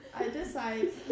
Ej det sejt